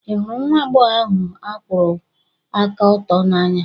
Ị hụrụ nwa agbọghọ ahụ n'akwuru aka oto n'anya?